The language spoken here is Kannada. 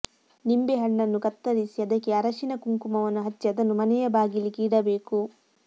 ನಿಂಬೆಹಣ್ಣನ್ನು ಕತ್ತರಿಸಿ ಅದಕ್ಕೆ ಅರಶಿನ ಕುಂಕುಮವನ್ನು ಹಚ್ಚಿ ಅದನ್ನು ಮನೆಯ ಬಾಗಿಲಿಗೆ ಇಡಬೇಕು